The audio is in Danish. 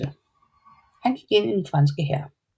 Han gik ind i den franske hær